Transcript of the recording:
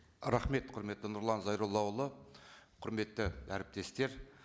рахмет құрметті нұрлан зайроллаұлы құрметті әріптестер